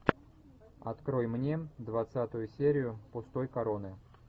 открой мне двадцатую серию пустой короны